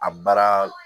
A baara